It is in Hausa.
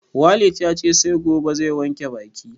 Walid yace sai gobe zai wanke baki